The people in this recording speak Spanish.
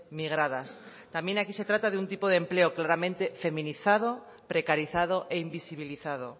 migradas también aquí se trata de un tipo de empleo claramente feminizado precarizado e invisibilizado